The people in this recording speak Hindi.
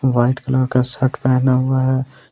व्हाइट कलर का शर्ट पहना हुआ है।